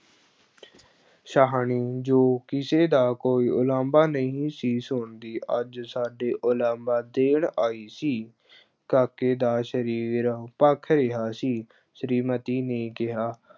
ਸ਼ਾਹਣੀ ਜੋ ਕਿਸੇ ਦਾ ਕੋਈ ਉਲਾਂਭਾ ਨਹੀਂ ਸੀ ਸੁਣਦੀ, ਅੱਜ ਸਾਡੇ ਉਲਾਂਭਾ ਦੇਣ ਆਈ ਸੀ ਕਾਕੇ ਦਾ ਸਰੀਰ ਭਖ ਰਿਹਾ ਸੀ, ਸ੍ਰੀਮਤੀ ਨੇ ਕਿਹਾ,